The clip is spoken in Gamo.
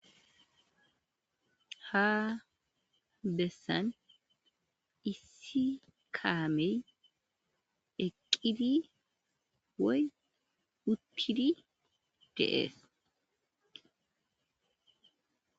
Ha bessan issi kaamey eqqidi woy wuttidi deees.